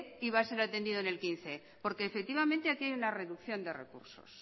y va a ser atendido en dos mil quince porque efectivamente aquí hay una reducción de recursos